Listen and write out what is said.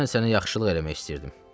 Mən sənə yaxşılıq eləmək istəyirdim.